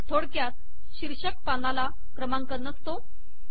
थोडक्यात शीर्षक पानाला क्रमांक नसतो